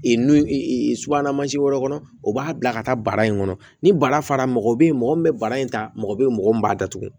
n'i subahana mansi wɛrɛ kɔnɔ o b'a bila ka taa bara in kɔnɔ ni bara fara mɔgɔ be yen mɔgɔ min be bara in ta mɔgɔ be yen mɔgɔ min b'a datugu